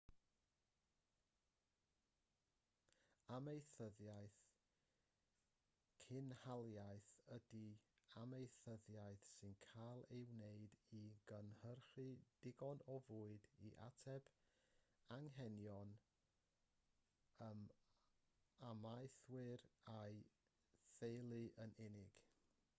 amaethyddiaeth cynhaliaeth ydi amaethyddiaeth sy'n cael ei wneud i gynhyrchu digon o fwyd i ateb anghenion yr amaethwr a'i d/theulu yn unig